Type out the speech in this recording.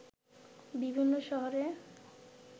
বিভিন্ন শহরে